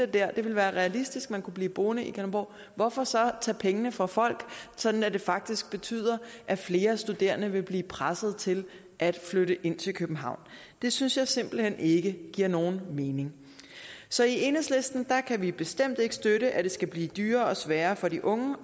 det ville være realistisk at man kunne blive boende i kalundborg hvorfor så tage pengene fra folk sådan at det faktisk betyder at flere studerende vil blive presset til at flytte ind til københavn det synes jeg simpelt hen ikke giver nogen mening så i enhedslisten kan vi bestemt ikke støtte at det skal blive dyrere og sværere for de unge